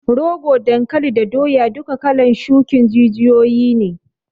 Rogo, dankali da doya duka kalan shukin jijiyoyi ne